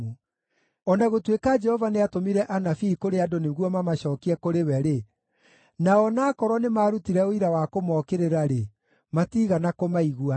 O na gũtuĩka Jehova nĩatũmire anabii kũrĩ andũ nĩguo mamacookie kũrĩ we-rĩ, na o na aakorwo nĩmarutire ũira wa kũmookĩrĩra-rĩ, matiigana kũmaigua.